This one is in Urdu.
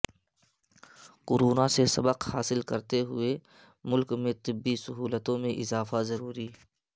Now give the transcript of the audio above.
کورونا سے سبق حاصل کرتے ہوئے ملک میں طبی سہولتوں میں اضافہ ضروری